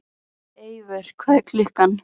Eivör, hvað er klukkan?